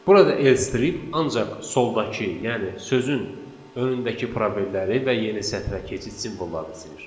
Burada L strip ancaq soldakı, yəni sözün önündəki probelləri və yeni sətrə keçid simvollarını silir.